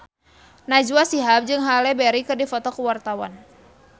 Najwa Shihab jeung Halle Berry keur dipoto ku wartawan